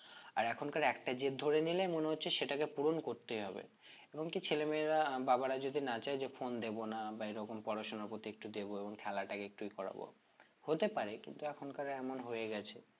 আর এখনকার একটা জেদ ধরে নিলে মনে হচ্ছে সেটাকে পূরণ করতেই হবে এবং কি ছেলেমেয়েরা বাবারা যদি না চাই যে phone দেব না বা এরকম পড়াশোনা করতে একটু দেবো এবং খেলাটাকে একটু ইয়ে করাবো হতে পারে কিন্তু এখনকার এমন হয়ে গেছে